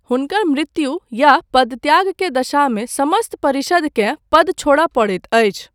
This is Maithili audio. हुनकर मृत्यु या पदत्याग के दशामे समस्त परिषदकेँ पद छोड़य पड़ैत अछि।